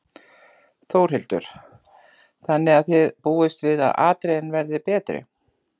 Þórhildur: Þannig að þið búist við að atriðin verði betri?